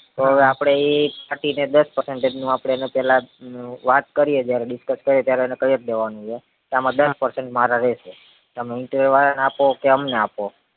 તો હવે આપડે ઈ ને દસ percentage નું આપડે એનું પેલા વાત કરીએ જયારે discuss કરીએ ત્યારે એને કયજ દેવાનું હે કે આમાં દસ percentage મારા રેશે તમે interior વાર ને આપો કે અમને આપો